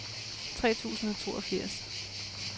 tre tusind og toogfirs